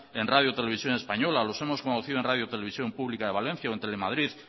en radio televisión española los hemos conocido en radio televisión pública de valencia o en telemadrid